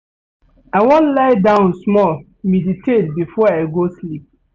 I wan lie die small meditate before I go sleep.